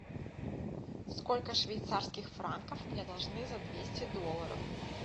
сколько швейцарских франков мне должны за двести долларов